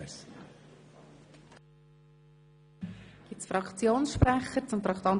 Gibt es Fraktionsvoten zu Traktandum